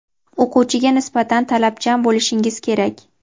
o‘quvchiga nisbatan talabchan bo‘lishingiz kerak.